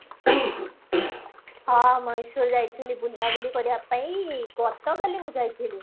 ହଁ ମଏଶ୍ଵର ଯାଇଥିଲି ବୁଲା ବୁଲି କରିବା ପାଇଁ ଗତ କାଲି ମୁଁ ଯାଇଥିଲି